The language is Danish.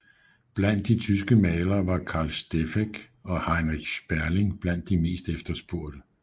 Blandt de tyske malere var Carl Steffeck og Heinrich Sperling blandt de mest efterspurgte